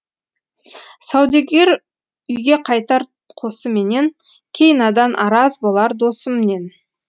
саудагер үйге қайтар қосыменен кей надан араз болар досымнен